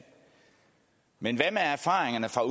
men hvad med erfaringerne fra